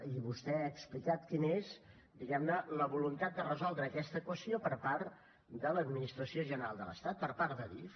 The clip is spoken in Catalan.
i vostè ha explicat quina és diguem ne la voluntat de resoldre aquesta qüestió per part de l’administració general de l’estat per part d’adif